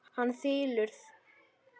Hann þylur: